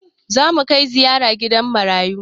Zamu kai ziyara gidan marayu